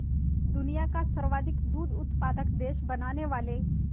दुनिया का सर्वाधिक दूध उत्पादक देश बनाने वाले